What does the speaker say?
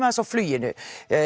aðeins á fluginu